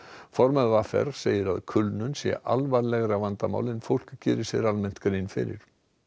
formaður v r segir að kulnun sé alvarlegra vandamál en fólk geri sér almennt grein fyrir